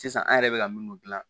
Sisan an yɛrɛ bɛ ka minnu dilan